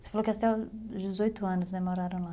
Você falou que até os dezoito anos, moraram lá.